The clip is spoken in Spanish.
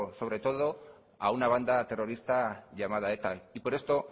sobre todo a una banda terrorista llamada eta y por esto